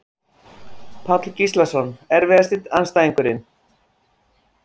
Páll Gíslason Erfiðasti andstæðingur?